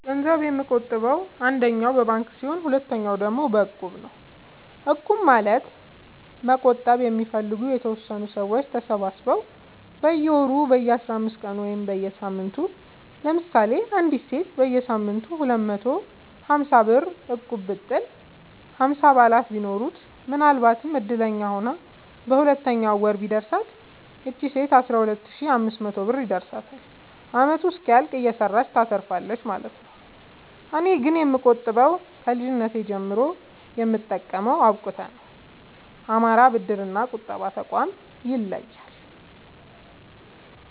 ገንዘብ የምቆ ጥበው አንደኛ በባንክ ሲሆን ሁለተኛ ደግሞ በእቁብ ነው እቁብ ማለት መቁጠብ የሚፈልጉ የተወሰኑ ሰዎች ተሰባስበው በየወሩ በየአስራአምስት ቀኑ ወይም በየሳምንቱ ለምሳሌ አንዲት ሴት በየሳምንቱ ሁለት መቶ ሀምሳብር እቁብጥል ሀምሳ አባላት ቢኖሩት ምናልባትም እድለኛ ሆና በሁለተኛው ወር ቢደርሳት ይቺ ሴት አስራሁለት ሺ አምስት መቶ ብር ይደርሳታል አመቱ እስኪያልቅ እየሰራች ታተርፋለች ማለት ነው። እኔ ግን የምቆጥበው ከልጅነቴ ጀምሮ የምጠቀመው አብቁተ ነው። አማራ ብድር እና ቁጠባ ጠቋም ይለያል።